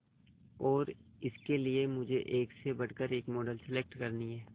और इसके लिए मुझे एक से बढ़कर एक मॉडल सेलेक्ट करनी है